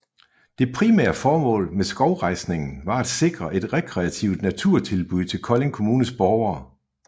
Det primære formål med skovrejsningen var at sikre et rekreativt naturtilbud til Kolding kommunes borgere